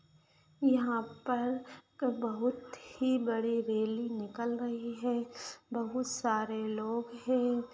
यहाँ पर एक बहुत ही बड़ी रैली निकल रही है बहुत सारे लोग हैं।